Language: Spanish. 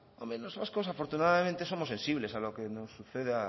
los vascos afortunadamente somos sensibles a lo que nos suceda